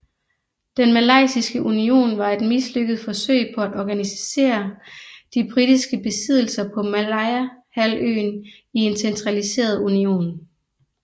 Den malayiske union var et mislykket forsøg på at organisere de britiske besiddelser på Malayahalvøen i en centraliseret union